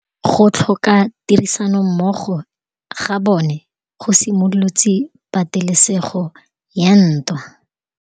Go tlhoka tirsanommogo ga bone go simolotse patêlêsêgô ya ntwa.